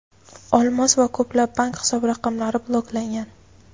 olmos va ko‘plab bank hisob raqamlari bloklangan.